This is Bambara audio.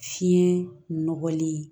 Fiɲɛ nɔgɔli